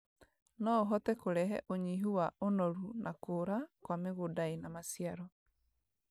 no ũhote kũrehe ũnyihu wa ũnoru na kũũra kwa mĩgũnda ĩna maciaro.